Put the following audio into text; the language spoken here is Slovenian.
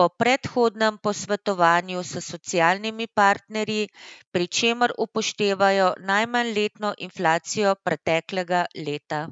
po predhodnem posvetovanju s socialnimi partnerji, pri čemer upoštevajo najmanj letno inflacijo preteklega leta.